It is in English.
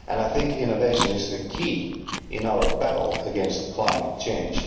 I think innovation is also the key in our battle against climate change.